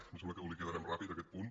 me sembla que el liquidarem ràpid aquest punt